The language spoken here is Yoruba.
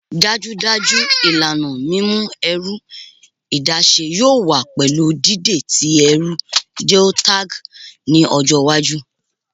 Dajudaju ilana mimu ẹru adaṣe yoo wa pẹlu dide ti ẹru geotagged ni ọjọ iwaju